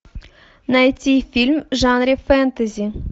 найти фильм в жанре фэнтези